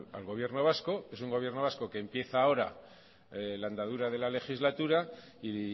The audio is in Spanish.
al gobierno vasco es un gobierno vasco que empieza ahora la andadura de la legislatura y